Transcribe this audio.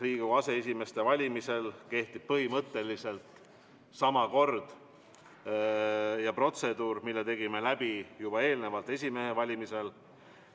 Riigikogu aseesimeeste valimisel kehtib põhimõtteliselt sama protseduur, mille me tegime läbi esimehe valimisel.